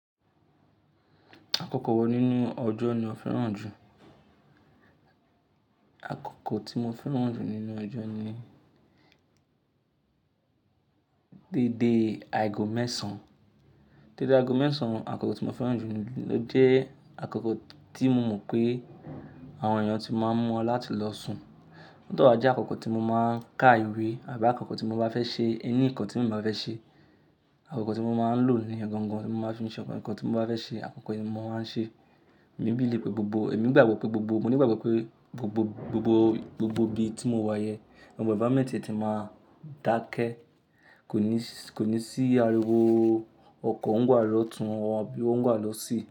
Àkókò wo nínú ọjọ́ ni o fẹ́ràn jù? Àkókò tí mo fẹ́ràn jù nínú ọjọ́ ni dédé àìgọ́ mẹ́sàn. Dédé àagọ́ mẹ́sàn àkókò tí mo fẹ́ràn jù ló jẹ́ àkókò tí mo mọ̀ pé àwọn èèyàn ti máa ń murà láti lọ sùn. Though a jé àkókò tí mo máa ń ka ìwé àbí àkókò tí mo bá fẹ́ ṣe any nkan tí mò bá fẹ́ ṣe. Àkókò tí mo máa ń lò ni ọgangan tí mo máa ń fi ṣse àwọn ǹkan tí mo bá fẹ́ ṣe. Àkókò yìí mo máa ń ṣe. Èmi believe pé gbogbo, èmi gbàgbọ́ pé gbogbo, mo ní ìgbàgbọ́ pé gbogbo gbogbo gbogbo ibi tí mo wà yẹn, àwọn environment tie ti má dákẹ́. Kò ní s--. Kò ní sí ariwo ọkọ̀ ń wá lọ́tùn àbí ó ń wá lọ sí.